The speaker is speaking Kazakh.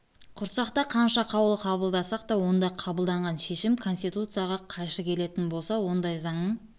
құрсақ та қанша қаулы қабылдасақ та онда қабылданған шешім конституцияға қайшы келетін болса ондай заңның